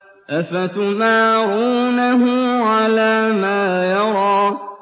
أَفَتُمَارُونَهُ عَلَىٰ مَا يَرَىٰ